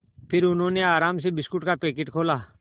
फिर उन्होंने आराम से बिस्कुट का पैकेट खोला